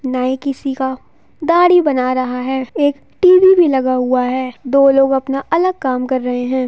नाई किसी का दाढ़ी बना रहा है एक टी.वी. भी लगा हुआ है दो लोग अपना अलग काम कर रहे हैं।